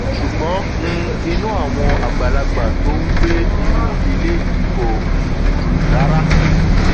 ṣùgbọn um inú àwọn àgbàlagbà tó ń gbé inú ilé yìí kò um dùn rárá